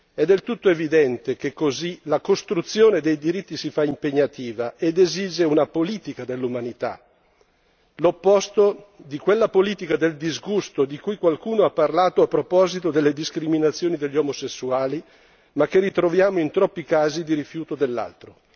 È del tutto evidente che così la costruzione dei diritti si fa impegnativa ed esige una politica dell'umanità, l'opposto di quella politica del disgusto di cui qualcuno ha parlato a proposito delle discriminazioni degli omosessuali, ma che ritroviamo in troppi casi di rifiuto dell'altro.